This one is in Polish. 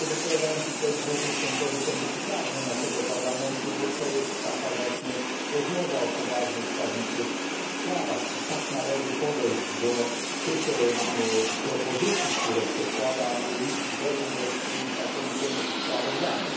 Dzisiaj wypowiadają się tutaj głównie członkowie Komisji Prawnej naszego Parlamentu, bo to jest taka właśnie rozmowa o poważnych, prawniczych sprawach i tak należy podejść do tych propozycji, które przedkłada Luigi Berlinguer w swoim znakomitym sprawozdaniu.